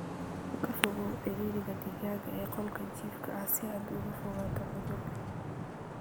Ka fogow ciriiriga digaagga ee qolka jiifka si aad uga fogaato cudur.